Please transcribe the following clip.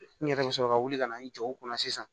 N yɛrɛ bɛ sɔrɔ ka wuli ka na n jɔ o kunna sisan